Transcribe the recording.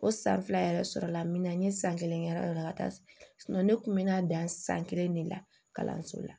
O san fila yɛrɛ sɔrɔla n bɛna n ye san kelen kɛ yɔrɔ dɔ la ka taa ne kun bɛ na dan san kelen de la kalanso la